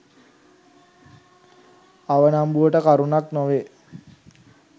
අවනම්බුවට කරුණක් නොවේ.